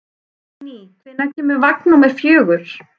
Líni, hvenær kemur vagn númer fjögur?